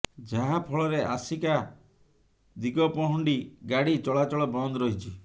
ଯାହା ଫଳରେ ଆସିକା ଦିଗପହଣ୍ଡି ଗାଡି ଚଳାଚଳ ବନ୍ଦ ରହିଛି